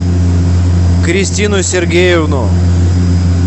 кристину сергеевну